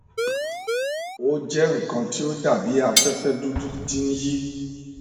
o jẹ nkan ti o dabi afẹfẹ dudu ti n yi